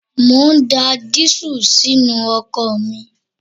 Mo ń da dísù sínú ọkọ̀ mi